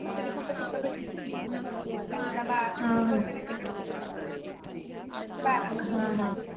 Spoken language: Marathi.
बारण